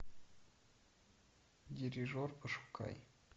дирижер пошукай